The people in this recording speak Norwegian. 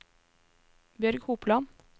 Bjørg Hopland